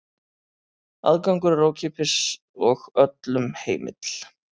Aðgangur er ókeypis og öllum heimill.